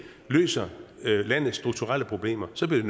løser landets strukturelle problemer så bliver